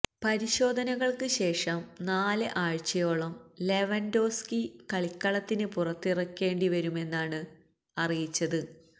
പരിശോധനകൾക്ക് ശേഷം നാല് ആഴ്ചയോളം ലെവൻഡോവ്സ്കി കളിക്കളത്തിന് പുറത്തിരിക്കേണ്ടിവരുമെന്നാണ് അറിയിച്ചത്